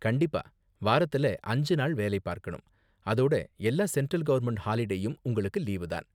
கண்டிப்பா, வாரத்துல அஞ்சு நாள் வேலை பார்க்கணும், அதோட எல்லா சென்ட்ரல் கவர்ன்மெண்ட் ஹாலிடேலயும் உங்களுக்கு லீவு தான்.